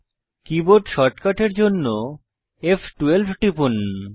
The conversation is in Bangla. কীবোর্ড শর্টকাটের জন্য ফ12 টিপুন